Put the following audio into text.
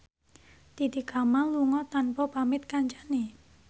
Titi Kamal lunga tanpa pamit kancane